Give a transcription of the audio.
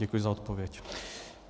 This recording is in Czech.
Děkuji za odpověď.